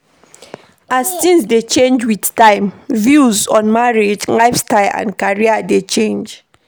As things dey change with time, views on marriage, lifestyle and career dey change